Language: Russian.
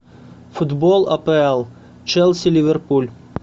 футбол апл челси ливерпуль